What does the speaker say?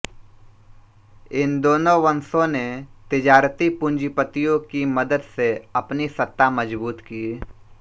इन दोनों वंशों ने तिजारती पूँजीपतियों की मदद से अपनी सत्ता मज़बूत की